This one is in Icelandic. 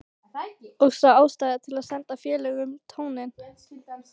Og sá ástæðu til að senda félögunum tóninn.